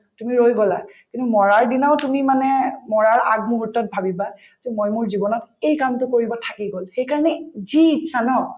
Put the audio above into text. তুমি ৰৈ গলা তুমি মৰাৰ দিনাও তুমি মানে মৰাৰ আগ মূহুৰ্তত ভাবিবা যে মই মোৰ জীৱনত এই কামটো কৰিব থাকি গল সেইকাৰণে যি ইচ্ছা ন